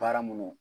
Baara minnu